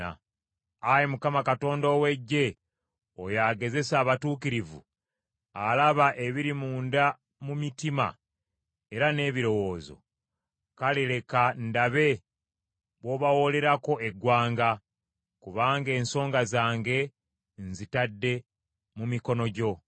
Ayi Mukama Katonda ow’Eggye oyo agezesa abatuukirivu, alaba ebiri munda mu mitima era n’ebirowoozo, kale leka ndabe bw’obawoolererako eggwanga, kubanga ensonga zange nzitadde mu mikono gyo.